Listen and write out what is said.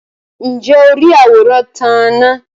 ǹjẹ́ o rí àwòrán tán-án-na?